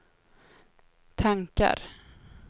tankar